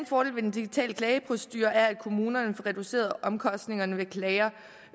fordel ved den digitale klageprocedure er at kommunerne får reduceret omkostningerne ved klager